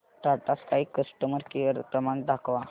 Tata sky customer care क्रमांक दाखवा